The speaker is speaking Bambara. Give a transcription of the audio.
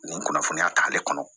Nin kunnafoniya ta ale kɔnɔ